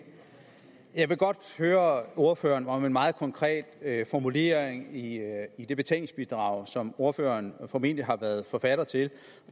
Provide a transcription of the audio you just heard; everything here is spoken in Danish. jeg vil godt høre ordføreren om en meget konkret formulering i i det betænkningsbidrag som ordføreren formentlig har været forfatter til